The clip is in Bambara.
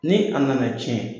Ni a nana cɛn